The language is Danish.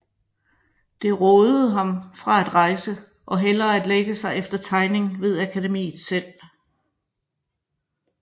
Det rådede ham fra at rejse og hellere at lægge sig efter tegning ved Akademiet selv